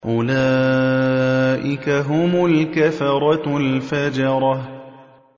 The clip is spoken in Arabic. أُولَٰئِكَ هُمُ الْكَفَرَةُ الْفَجَرَةُ